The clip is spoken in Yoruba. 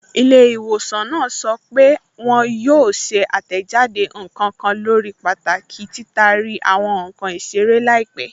Ilẹ́̀-ìwọ̀sàn náà sọ́ pé wọn yóò ṣè àtẹ́jádé nkan kàn lórí pàtàkì tí títàrí àwọn nkan isèrè laípẹ̀.